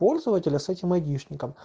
пользователь с этим эдишн